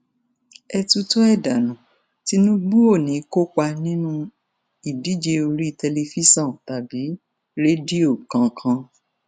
ẹ tutọ ẹ dànù tìǹbù ò ní í kópa nínú ìdíje orí tẹlifíṣàn tàbí rédíò kankan